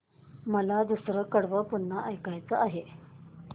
मला दुसरं कडवं पुन्हा ऐकायचं आहे